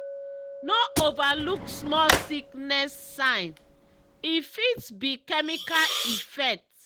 no overlook small sickness sign—e fit be chemical effect.